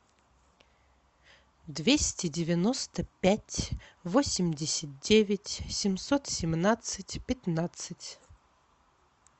двести девяносто пять восемьдесят девять семьсот семнадцать пятнадцать